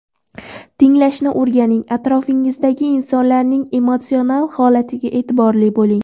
Tinglashni o‘rganing, atrofingizdagi insonlarning emotsional holatiga e’tiborli bo‘ling.